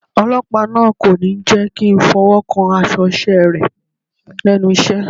Ọlọ́pàá náà kò ní jẹ́kí ń fọwọ́ kan aṣọ iṣẹ́ rẹ̀ lẹ́nu iṣẹ́.